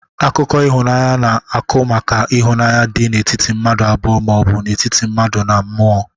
Akụkọ ihụnanya na-akụ maka ihunanya dị n'etiti mmadu abụọ ma ọbụ n'etiti mmadu na mMụo.